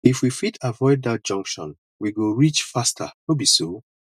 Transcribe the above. if we fit avoid dat junction we go reach faster no be so